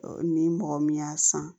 Ni mɔgɔ min y'a san